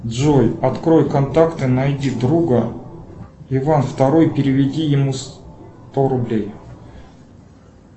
джой открой контакты найди друга иван второй переведи ему сто рублей